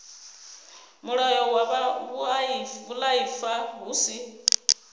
mulayo wa vhuaifa hu si